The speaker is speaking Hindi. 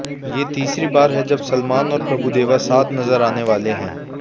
ये तीसरी बार है जब सलमान और प्रभूदेवा साथ नजर आने वाले हैं